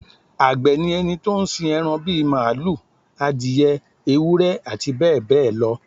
Àgbẹ̀ ni ẹni tó ń sin ẹran bí màlúù, adìẹ, ewúrẹ́ àti bẹ́ẹ̀ bẹ́ẹ̀ lọ